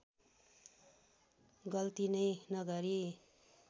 गल्ती नै नगरी